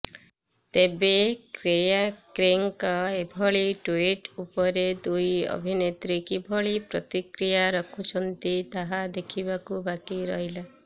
ତେବେ କେଆର୍କେଙ୍କ ଏଭଳି ଟୁଇଟ୍ ଉପରେ ଦୁଇ ଅଭିନେତ୍ରୀ କିଭଳି ପ୍ରତିକ୍ରିୟା ରଖୁଛନ୍ତି ତାହା ଦେଖିବାକୁ ବାକି ରହିଲା